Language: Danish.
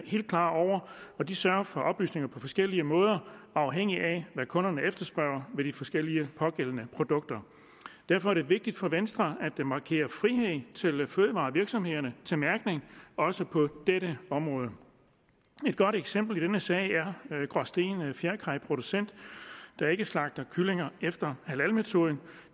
helt klar over og de sørger for oplysninger på forskellige måder afhængigt af hvad kunderne efterspørger ved de forskellige produkter derfor er det vigtigt for venstre at markere frihed til fødevarevirksomhederne til mærkning også på dette område et godt eksempel i denne sag er gråsten fjerkræ producent der ikke slagter kyllinger efter halalmetoden